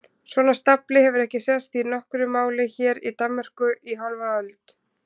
Svona stafli hefur ekki sést í nokkru máli hér í Danmörku í hálfa öld!